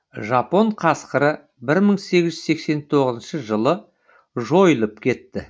жапон қасқыры бір мың сегіз жүз сексен тоғызыншы жылы жойылып кетті